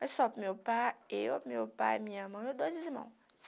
Mas só para o meu pai, eu, meu pai, minha mãe, meus irmãos.